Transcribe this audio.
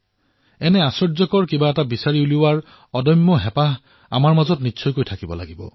এই আশ্বৰ্যসমূহৰ সন্ধানৰ বাবে অনুসন্ধানকাৰী মানসিকতাৰ প্ৰয়োজন